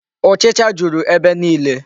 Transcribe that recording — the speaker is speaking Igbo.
Ụchịcha juru ebe niile?